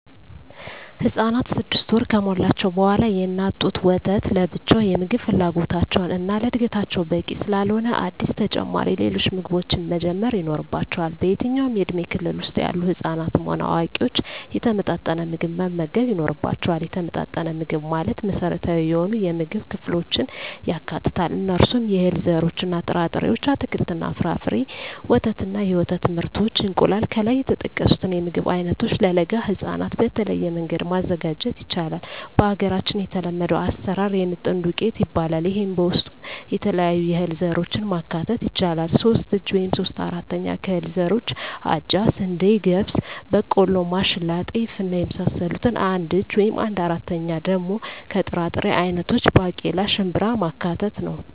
ህፃናት ስድስት ወር ከሞላቸዉ በኋላ የእናት ጡት ወተት ለብቻዉ የምግብ ፍላጎታቸዉን እና ለእድገታቸዉ በቂ ስላልሆነ አዲስ ተጨማሪ ሌሎች ምግቦችን መጀመር ይኖሮባቸዋል በየትኛዉም የእድሜ ክልል ዉስጥ ያሉ ህፃናትም ሆነ አዋቂዎች የተመጣጠነ ምግብ መመገብ ይኖርባየዋል የተመጣጠነ ምግብ ማለት መሰረታዊ የሆኑየምግብ ክፍሎችን ያካትታል እነርሱም - የእህል ዘሮችእና ጥራጥሬዎች - አትክልትና ፍራፍሬ - ወተት እና የወተት ምርቶች - እንቁላል ከላይ የተጠቀሱትን የምግብ አይነቶች ለለጋ ህፃናት በተለየ መንገድ ማዘጋጀት ይቻላል በሀገራችን የተለመደዉ አሰራር የምጥን ዱቄት ይባላል ይሄም በዉስጡ የተለያዩ የእህል ዘሮችን ማካተት ይቻላል ሶስት እጂ (3/4) ከእህል ዘሮች አጃ፣ ስንዴ፣ ገብስ፣ ቦቆሎማሽላ፣ ጤፍ እና የመሳሰሉት አንድ እጂ(1/4)ደሞ ከጥራጥሬ አይነቶች ባቄላ፣ ሽንብራማካተት ነዉ